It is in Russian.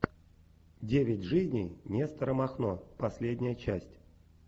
девять жизней нестора махно последняя часть